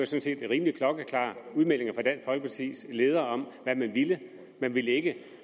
set rimelig klokkeklare udmeldinger fra dansk folkepartis leder om hvad man ville man ville ikke